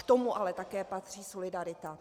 K tomu ale také patří solidarita.